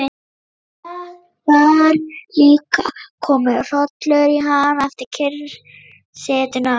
Það var líka kominn hrollur í hann eftir kyrrsetuna.